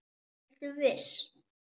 Ertu viss?